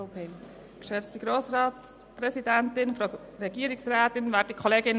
Ich bin anderer Meinung als mein Vorredner.